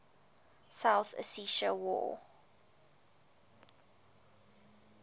south ossetia war